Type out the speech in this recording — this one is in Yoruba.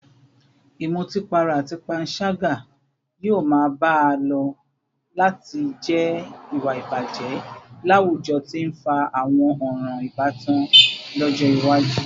Ìmutípara àti panṣágà yóò máa bá a lọ láti jẹ́ ìwà ìbàjẹ́ láwùjọ tí ń fa àwọn ọ̀ràn ìbátan lọ́jọ́ iwájú